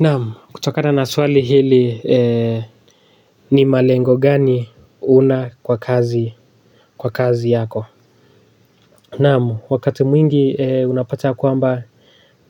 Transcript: Naam, kutokana na swali hili ni malengo gani unayo kwa kazi yako? Naam, wakati mwingi unapata kwamba